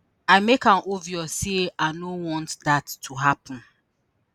“i make am obvious say i no want dat to happen.